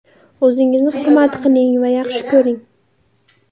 O‘zingizni hurmat qiling va yaxshi ko‘ring.